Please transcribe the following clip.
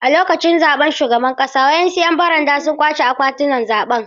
A lokacin zaɓen shugaban ƙasa, wasu ‘yan baranda sun ƙwace akwatunan zaɓe.